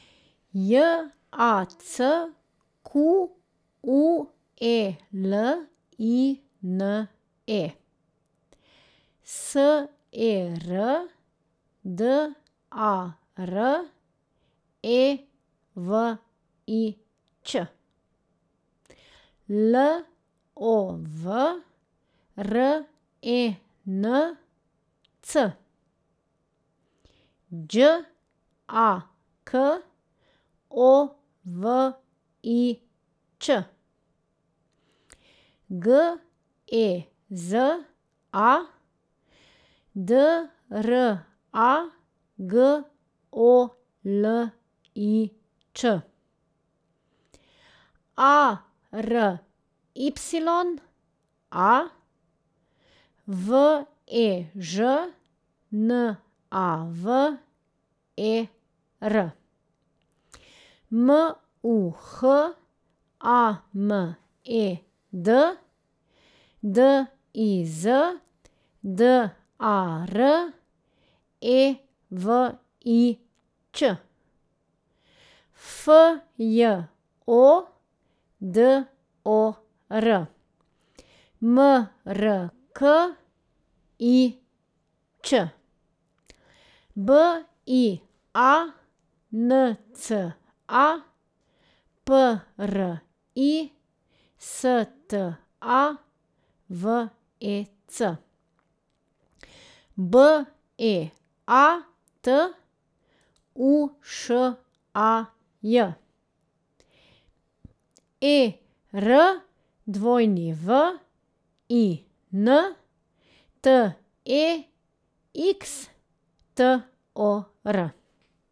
J A C Q U E L I N E, S E R D A R E V I Ć; L O V R E N C, Đ A K O V I Ć; G E Z A, D R A G O L I Č; A R Y A, V E Ž N A V E R; M U H A M E D, D I Z D A R E V I Ć; F J O D O R, M R K I Ć; B I A N C A, P R I S T A V E C; B E A T, U Š A J; E R W I N, T E X T O R.